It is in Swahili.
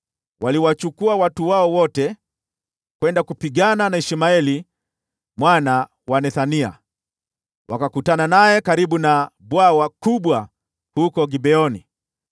waliwachukua watu wao wote kwenda kupigana na Ishmaeli mwana wa Nethania. Wakakutana naye karibu na bwawa kubwa huko Gibeoni.